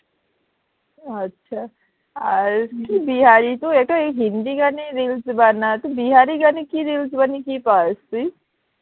আচ্ছা আর তুই বিহারি তো একটা এই হিন্দি গানে reels বানা তুই বিহারি গানে reels বানিয়ে কি পাস তুই?